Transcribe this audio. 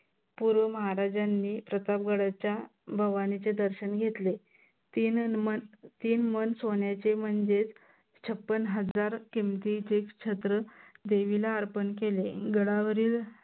पूर्व महाराजांनी प्रताप गडाच्या भवानीचे दर्शन घेतले. तींन मन तीन मन सोन्याचे म्हनजेच छप्पन हजार किमतीचे छत्र देवीला अर्पन केले. गडावरील